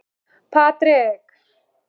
Þetta eru vinir mínir, sagði þá Sveinn.